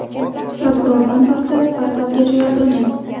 Prokurordan tortib portalgacha yozilgan.